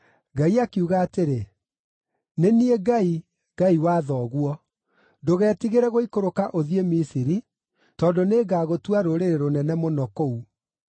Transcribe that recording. Ngai akiuga atĩrĩ, “Nĩ niĩ Ngai, Ngai wa thoguo. Ndũgetigĩre gũikũrũka ũthiĩ Misiri, tondũ nĩngagũtua rũrĩrĩ rũnene mũno kũu.